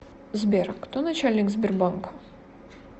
сбер кто начальник сбербанка